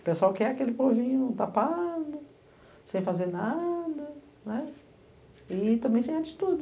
O pessoal quer aquele povinho tapado, sem fazer nada e também sem atitude.